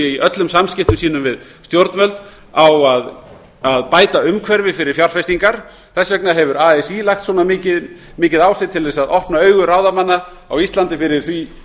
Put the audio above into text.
í öllum samskiptum sínum við stjórnvöld lagt svona mikla áherslu á að bæta umhverfið fyrir fjárfestingar þess vegna hefur así lagt svona mikið á sig til að opna auga ráðamanna á íslandi fyrir því